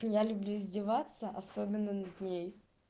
я люблю издеваться особенно над ней